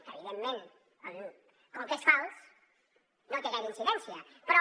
que evidentment com que és fals no té gaire incidència però